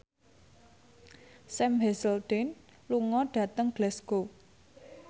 Sam Hazeldine lunga dhateng Glasgow